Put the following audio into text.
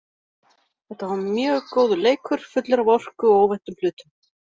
Þeta var mjög góður leikur, fullur af orku og óvæntum hlutum.